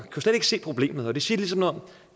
kunne slet ikke se problemet og det siger ligesom noget